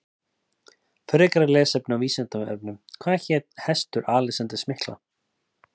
Frekara lesefni á Vísindavefnum Hvað hét hestur Alexanders mikla?